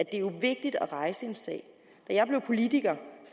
jo er vigtigt at rejse en sag da jeg blev politiker